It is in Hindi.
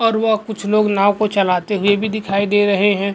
और वह कुछ लोग नाव को चलाते हुए भी दिखाई दे रहे हैं।